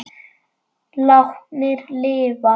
Látnir lifa